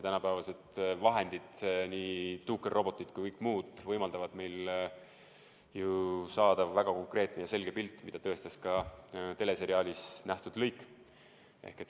Tänapäevased vahendid – nii tuukerrobotid kui ka kõik muu – võimaldavad ju saada väga konkreetse ja selge pildi, mida tõestas ka teleseriaalis nähtud lõik.